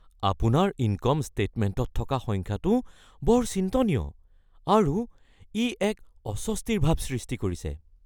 আপোনাৰ ইনকম ষ্টেটমেণ্টত থকা সংখ্যাটো বৰ চিন্তনীয় আৰু ই এক অস্বস্তিৰ ভাৱ সৃষ্টি কৰিছে।